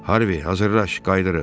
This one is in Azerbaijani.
Harvi, hazırlaş qayıdırıq.